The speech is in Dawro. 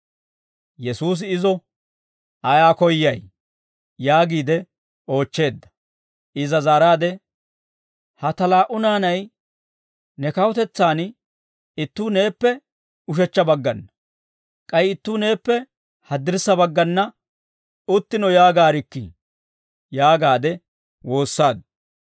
Yesuusi izo, «Ayaa koyyay?» yaagiide oochcheedda. Iza zaaraade, «Ha ta laa"u naanay ne kawutetsaan ittuu neeppe ushechcha baggana, k'ay ittuu neeppe haddirssa baggana uttino yaagaarikkii» yaagaade woossaaddu.